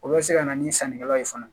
O bɛ se ka na ni sannikɛlaw ye fana